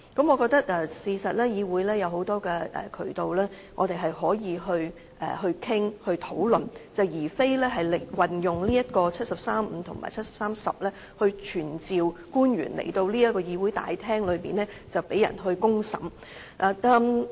我認為議會其實也有很多渠道讓我們討論，而非引用《基本法》第七十三條第五項及第七十三條第十項來傳召官員到這個議會大廳被人"公審"。